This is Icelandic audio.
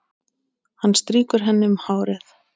Hann strýkur henni um hárið.